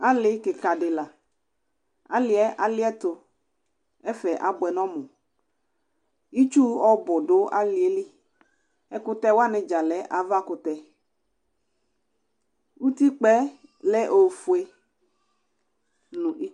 Alɩ kɩka dɩ la, alɩ yɛ alɩɛtʋ, ɛfɛ abʋɛ nʋ ɔmʋ; itsu ɔbʋ dʋ alɩ yɛ li, ɛkʋtɛ wanɩ dza lɛ avakʋtɛUtikpǝ yɛ lɛ ofue